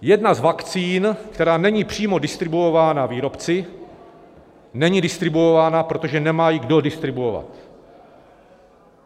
Jedna z vakcín, která není přímo distribuována výrobci, není distribuována, protože nemá ji kdo distribuovat.